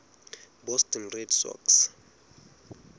boston red sox